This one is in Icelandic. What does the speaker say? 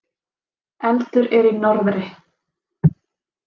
Eldur er í norðri.